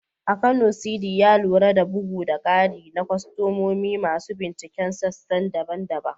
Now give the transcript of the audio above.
A Kano, Sidi, ya lura da bugu da ƙari na kwastomomi masu binciken sassan daban-daban.